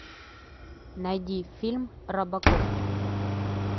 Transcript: найди фильм робокоп